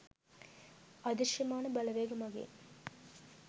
අදෘශ්‍යමාන බලවේග මගින්